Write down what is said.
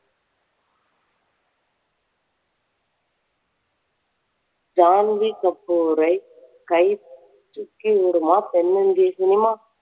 ஜான்வி கப்பூரை கை தூக்கி விடுமா தென்னிந்திய சினிமா?